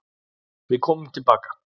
Við komum tilbaka.